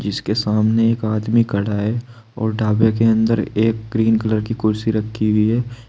जिसके सामने एक आदमी खड़ा है और ढाबे के अंदर एक ग्रीन कलर की कुर्सी रखी हुई है।